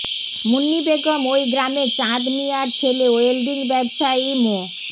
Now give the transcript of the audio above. মুন্নি বেগম ওই গ্রামের চাঁদ মিয়ার ছেলে ওয়েলডিং ব্যবসায়ী মো